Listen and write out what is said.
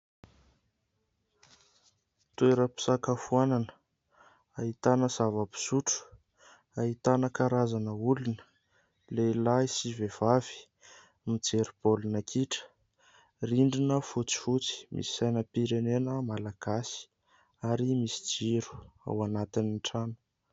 Toeram-pisakafoanana ahitana zava-pisotro, ahitana karazana olona, lehilahy sy vehivavy mijery baolina kitra, rindrina fotsifotsy misy sainam-pirenena malagasy ary misy jiro ao anatin'ny trano.